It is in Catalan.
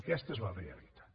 aquesta és la realitat